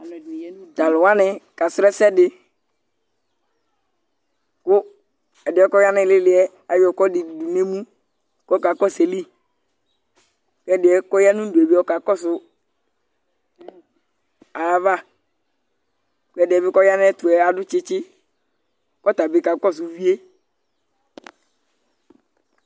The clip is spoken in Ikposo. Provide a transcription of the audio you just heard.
Tʋ alʋ wanɩ kasrɔ ɛsɛ dɩ kʋ ɛdɩ yɛ kʋ ɔya nʋ ɩɩlɩ ɩɩlɩ yɛ ayɔ ɛkʋɛdɩ dʋ nʋ emu kʋ ɔkakɔsʋ ayili kʋ ɛdɩ yɛ kʋ ɔya nʋ udu yɛ bɩ ɔkakɔsʋ ayava kʋ ɛdɩ yɛ bɩ kʋ ɔya nʋ ayɛtʋ yɛ adʋ tsɩtsɩ kʋ ɔta bɩ kakɔsʋ uvi yɛ